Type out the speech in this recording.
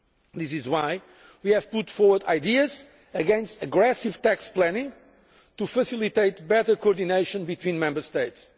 This is why we have put forward ideas against aggressive tax planning to facilitate better co ordination between Member States.